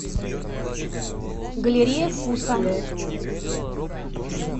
галерея вкуса